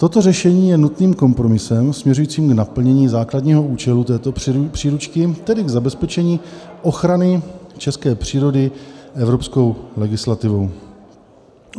Toto řešení je nutným kompromisem směřujícím k naplnění základního účelu této příručky, tedy k zabezpečení ochrany české přírody evropskou legislativou."